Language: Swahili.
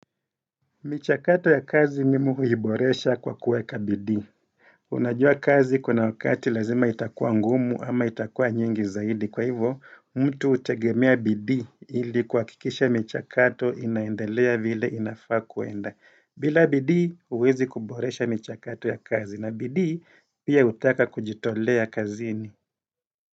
Michakato ya kazi mimi huiboresha kwa kuweka bidii Unajua kazi kuna wakati lazima itakua ngumu ama itakua nyingi zaidi. Kwa hivo, mtu hutegemea bidii ili kuhakikisha michakato inaendelea vile inafaa kuenda. Bila bidii uwezi kuboresha michakato ya kazi na bidii pia hutaka kujitolea kazini.